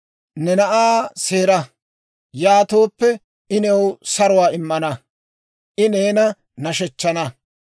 Ne na'aa seera; yaatooppe, I new saruwaa immana; I neena nashshechchana.